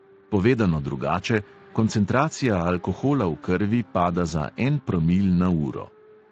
Povedano drugače, koncentracija alkohola v krvi pada za en promil na uro.